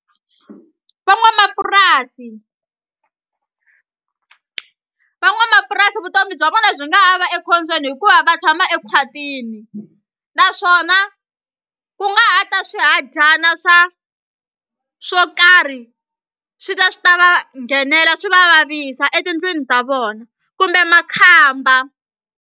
Van'wamapurasi, van'wamapurasi vutomi bya vona byi nga ha va ekhombyeni hikuva va tshama ekhwatini naswona ku nga ha ta swihadyana swa swo karhi swi ta swi ta va nghenela swi va vavisa etindlwini ta vona kumbe makhamba.